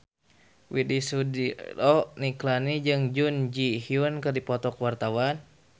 Widy Soediro Nichlany jeung Jun Ji Hyun keur dipoto ku wartawan